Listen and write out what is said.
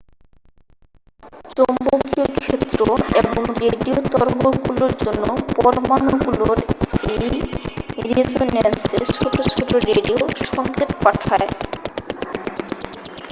চৌম্বকীয় ক্ষেত্র এবং রেডিও তরঙ্গগুলোর জন্য পরমাণুগুলোর এই রেসোনান্সে ছোট ছোট রেডিও সংকেত পাঠায়